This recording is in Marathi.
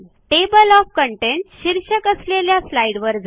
टेबल ओएफ कंटेंट शीर्षक असलेल्या स्लाईडवर जा